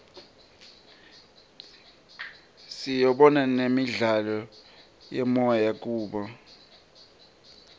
sibona nemidlalo yemoya kubo